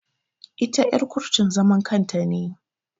Ita er kurtun zaman kanta ne.